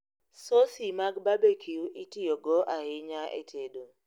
Sosi mag barbecue itiyogo ahinya e tedo